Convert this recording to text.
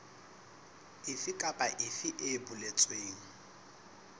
efe kapa efe e boletsweng